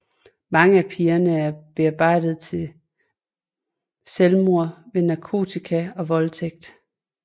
Mange af pigerne er bearbejdet til selvmord ved narkotika og voldtægt